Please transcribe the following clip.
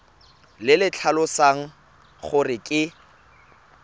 le le tlhalosang gore ke